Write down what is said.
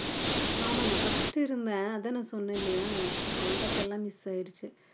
ஆமா நான் first இருந்தேன் அதான் நான் சொன்னேன் இல்லையா contact எல்லாம் miss ஆயிடுச்சு